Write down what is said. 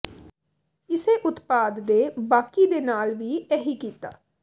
ਇਸੇ ਉਤਪਾਦ ਦੇ ਬਾਕੀ ਦੇ ਨਾਲ ਵੀ ਇਹੀ ਕੀਤਾ